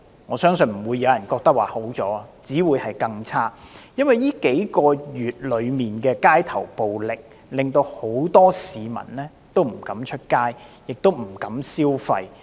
我相信不會有人認為好轉，只會是更差，因為這數個月的街頭暴力，令很多市民不敢出街，不敢消費。